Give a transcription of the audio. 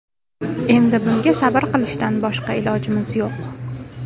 Endi bunga sabr qilishdan boshqa ilojimiz yo‘q.